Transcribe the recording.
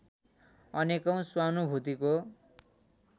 अनेकौँ स्वानुभूतिको